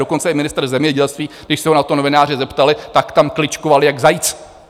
Dokonce i ministr zemědělství, když se ho na to novináři zeptali, tak tam kličkoval jak zajíc!